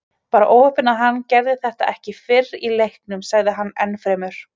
Bara óheppni að hann gerði þetta ekki fyrr í leiknum, sagði hann ennfremur.